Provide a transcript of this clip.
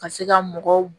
Ka se ka mɔgɔw